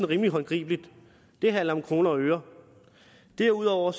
rimelig håndgribeligt det handler om kroner og øre derudover